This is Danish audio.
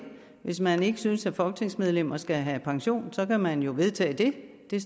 hvis man ikke synes at folketingsmedlemmer skal have pension så kan man jo vedtage det det er